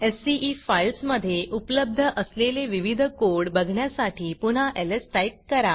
CE files मधे उपलब्ध असलेले विविध कोड बघण्यासाठी पुन्हा एलएस टाईप करा